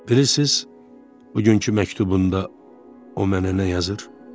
Bilirsiz, bugünkü məktubunda o mənə nə yazır?